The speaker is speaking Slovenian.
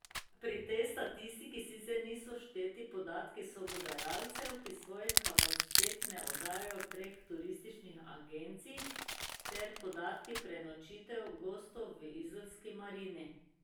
Pri tej statistiki sicer niso všteti podatki sobodajalcev, ki svojih kapacitet ne oddajajo prek turističnih agencij, ter podatki prenočitev gostov v izolski marini.